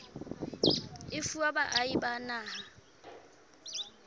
e fuwa baahi ba naha